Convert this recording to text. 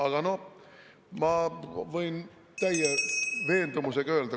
Aga noh, ma võin täie veendumusega öelda …